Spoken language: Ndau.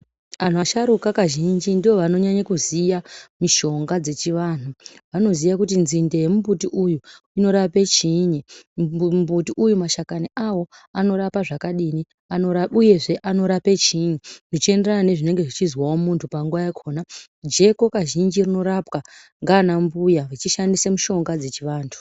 Anhu asharuka kazhinji ndoovanonyanya kuziya mishonga dzechivanhu. Vanoziya kuti nzinde yemumbuti uyu inorape chiinyi. Mumbuti uyu mashakani awo anorapa zvakadini uyezve anorape chiinyi. Zvichienderana nezvinenge zveizwawo muntu panguva yakona. Jeko kazhinji rinorapwa ngaana mbuya vachishandise mishonga dzechivantu.